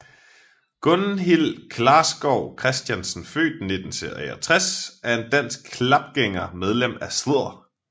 Gunhild Klarskov Kristiansen født 1963 er en dansk kapgænger medlem af Sdr